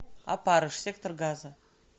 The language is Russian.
опарыш сектор газа